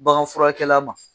Bagan furakɛla ma